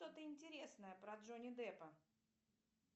что то интересное про джонни деппа